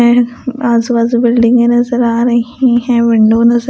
आजू बाजू बिल्डिंगे नजर आ रही हैविंडो नजर--